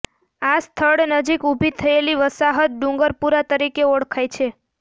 આ સ્થળ નજીક ઊભી થયેલી વસાહત ડુંગરપુરા તરીકે ઓળખાય છે